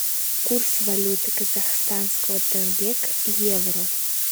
курс валюты казахстанского тенге к евро